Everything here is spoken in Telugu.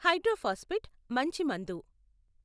హైడ్రోఫాస్ఫేట్ మంచి మందు.